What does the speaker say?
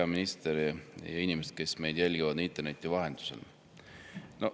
Hea minister ja inimesed, kes meid jälgivad interneti vahendusel!